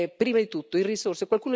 Prima di tutto le risorse.